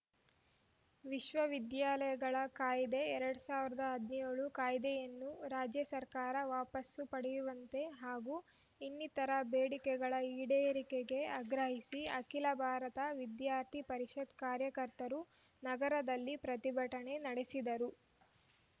ವಿಶ್ವವಿದ್ಯಾಲಯಗಳ ಕಾಯ್ದೆ ಎರಡ್ ಸಾವಿರದ ಹದ್ನೇಳು ಕಾಯ್ದೆಯನ್ನು ರಾಜ್ಯ ಸರ್ಕಾರ ವಾಪಸ್ಸು ಪಡೆಯುವಂತೆ ಹಾಗೂ ಇನ್ನಿತರೆ ಬೇಡಿಕೆಗಳ ಈಡೇರಿಕೆಗೆ ಆಗ್ರಹಿಸಿ ಅಖಿಲ ಭಾರತ ವಿದ್ಯಾರ್ಥಿ ಪರಿಷತ್‌ ಕಾರ್ಯಕರ್ತರು ನಗರದಲ್ಲಿ ಪ್ರತಿಭಟನೆ ನಡೆಸಿದರು